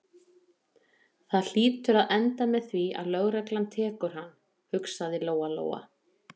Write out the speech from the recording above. Það hlýtur að enda með því að lögreglan tekur hann, hugsaði Lóa-Lóa.